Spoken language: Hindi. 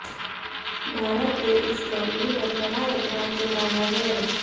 भारत ने इस मामले पर कड़ा ऐतराज जताया है